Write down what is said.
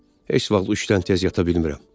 Heç vaxt üçdən tez yata bilmirəm.